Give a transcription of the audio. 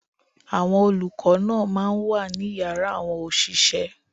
Àwọn olùkọ́ náà máa ń wà ní yàrá àwọn òṣìṣẹ́.